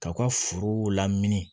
K'aw ka forow lamini